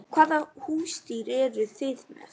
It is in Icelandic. Hvaða húsdýr eru þið með?